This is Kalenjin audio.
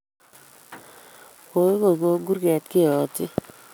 Kaigongony kurget keyotyi